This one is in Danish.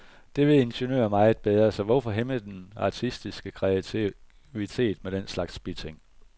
Det ved ingeniører meget bedre, så hvorfor hæmme den artistiske kreativitet med den slags biting.